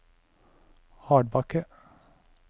Hardbakke